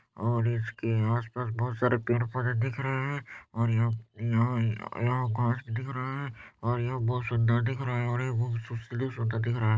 और इसके आस पास बहुत सारे पेड़ पौधे दिख रहे हैं और यहाँ यहाँ यहाँ घांस भी दिख रहे है और यह बहुत सुन्दर दिख रहे है और सुन्दर दिख रहे हैं।